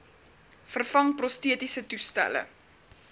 vervang prostetiese toestelle